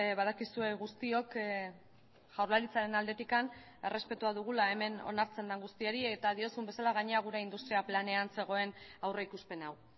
badakizue guztiok jaurlaritzaren aldetik errespetua dugula hemen onartzen den guztiari eta diozun bezala gainera gure industria planean zegoen aurrikuspen hau